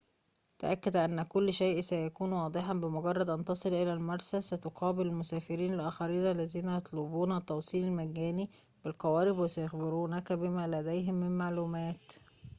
تأكد أن كل شئ سيكون واضحًا بمجرد أن تصل إلى المرسى ستقابل المسافرين الآخرين الذين يطلبون التوصيل المجاني بالقوارب وسيخبرونك بما لديهم من معلومات